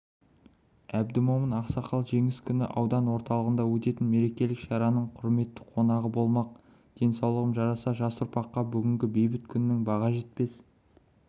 әбдімомын ақсақал жеңіс күні аудан орталығында өтетін мерекелік шараның құрметті қонағы болмақ денсаулығым жараса жас ұрпаққа бүгінгі бейбіт күннің баға жетпес